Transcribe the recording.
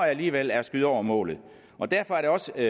alligevel er at skyde over målet og derfor er det også